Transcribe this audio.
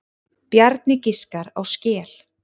Bjarni giskar á skel.